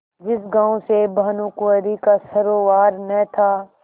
जिस गॉँव से भानुकुँवरि का सरोवार न था